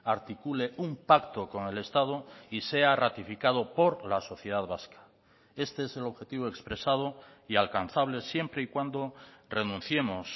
articule un pacto con el estado y sea ratificado por la sociedad vasca este es el objetivo expresado y alcanzable siempre y cuando renunciemos